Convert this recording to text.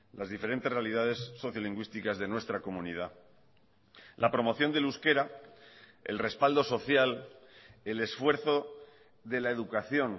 las diferentes realidades sociolingüísticas de nuestra comunidad la promoción del euskera el respaldo social el esfuerzo de la educación